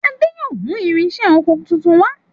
Ade yóò mú irinṣẹ́ okò títún wá.